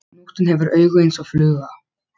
Nóttin hefur augu eins og fluga.